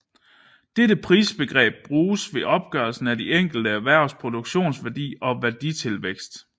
Dette prisbegreb bruges ved opgørelsen af de enkelte erhvervs produktionsværdi og værditilvækst